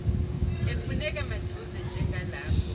efuneka maduze njengalapho